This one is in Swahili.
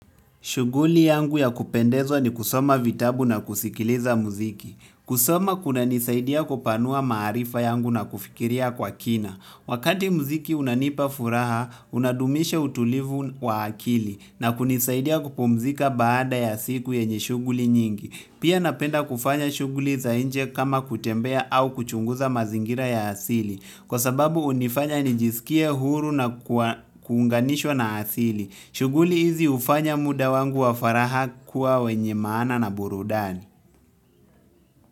Shughuli yangu ya kupendezwa ni kusoma vitabu na kusikiliza muziki kusoma kunanisaidia kupanua maarifa yangu na kufikiria kwa kina. Wakati muziki unanipa furaha, unadumisha utulivu wa akili na kunisaidia kupumzika baada ya siku yenye shughuli nyingi. Pia napenda kufanya shughuli za nje kama kutembea au kuchunguza mazingira ya asili. Kwa sababu hunifanya nijisikie huru na kuunganishwa na asili. Shughuli hizi hufanya muda wangu wa faragha kuwa wenye maana na burudani.